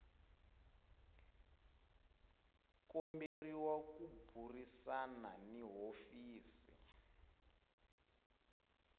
komberiwa ku burisana ni hofisi